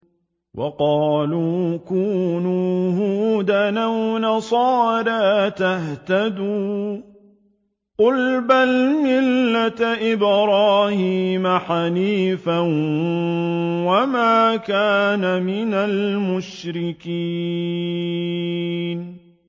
وَقَالُوا كُونُوا هُودًا أَوْ نَصَارَىٰ تَهْتَدُوا ۗ قُلْ بَلْ مِلَّةَ إِبْرَاهِيمَ حَنِيفًا ۖ وَمَا كَانَ مِنَ الْمُشْرِكِينَ